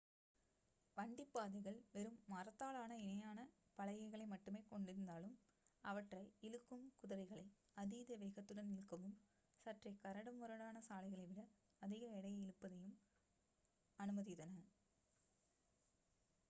வண்டிப் பாதைகள் வெறும் மரத்தாலான இணையான பலகைகளை மட்டுமே கொண்டிருந்தாலும் அவற்றை இழுக்கும் குதிரைகளை அதீத வேகத்துடன் இழுக்கவும் சற்றே கரடு முரடான சாலைகளை விட அதிக எடையை இழுப்பதையும் அனுமதித்தன